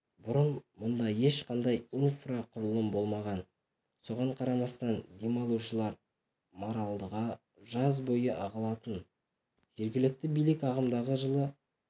бұрын мұнда ешқандай инфрақұрылым болмаған соған қарамастан демалушылар маралдыға жаз бойы ағылатын жергілікті билік ағымдағы жылы